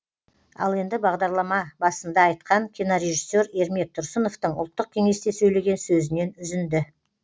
ал енді бағдарлама басында айтқан кинорежиссер ермек тұрсыновтың ұлттық кеңесте сөйлеген сөзінен үзінді